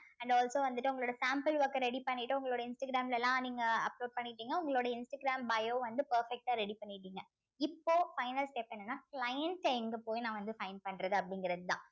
and also வந்துட்டு உங்களோட sample work அ ready பண்ணிட்டு உங்களோட இன்ஸ்டாகிராம்ல எல்லாம் நீங்க upload பண்ணிட்டீங்க உங்களுடைய இன்ஸ்டாகிராம் bio வந்து perfect ஆ ready பண்ணிட்டீங்க இப்போ final step என்னன்னா clients எங்க போய் நான் வந்து find பண்றது அப்படிங்கிறதுதான்